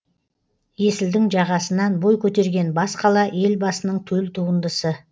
есілдің жағасынан бой көтерген бас қала елбасының төл туындысы